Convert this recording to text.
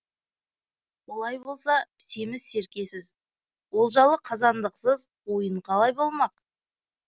олай болса семіз серкесіз олжалы қазандықсыз ойын қалай болмақ